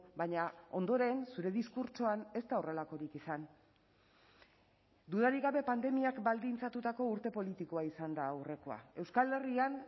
baina ondoren zure diskurtsoan ez da horrelakorik izan dudarik gabe pandemiak baldintzatutako urte politikoa izan da aurrekoa euskal herrian